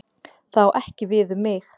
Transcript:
Það á ekki við um mig.